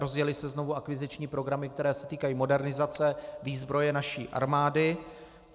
Rozjely se znovu akviziční programy, které se týkají modernizace výzbroje naší armády.